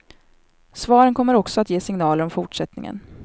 Svaren kommer också att ge signaler om fortsättningen.